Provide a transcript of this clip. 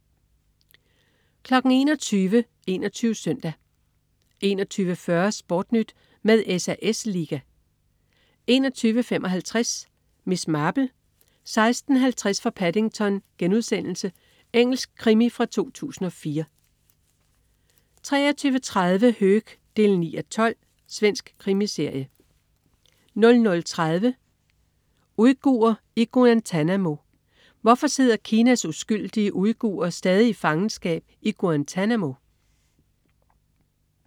21.00 21 SØNDAG 21.40 SportNyt med SAS Liga 21.55 Miss Marple: 16:50 fra Paddington.* Engelsk krimi fra 2004 23.30 Höök 9:12. Svensk krimiserie 00.30 Uigurer i Guantanamo. Hvorfor sidder Kinas uskyldige uigurer stadig i fangenskab i Guantanamo?